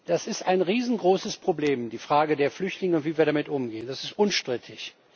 Das ist ein riesengroßes Problem, die Frage der Flüchtlinge und wie wir damit umgehen. Das ist unstrittig.